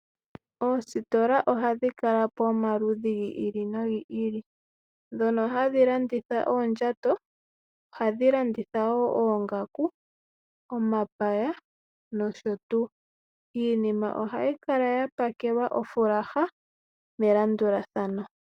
Oositola ohadhi kala po omaludhi gi ili nogi ili. Ndhono hadhi landitha oondjato, ohadhi landitha wo oongaku, omapaya, nosho tuu. Iinima ohayi kala ya pakelwa ofulaha melandulathano.